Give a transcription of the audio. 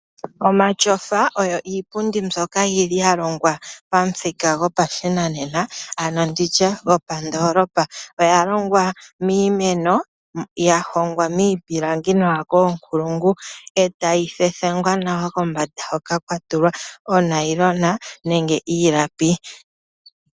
Omatyofa oyo iipundi mbyoka ya longwa pamuthika gopashinanena. Oya longwa miimeno, ya hongwa miipilingi nawa koonkulungu, e tayi thethengwa nawa kombanda hoka kwa tulwa onayilona nenge iilapi.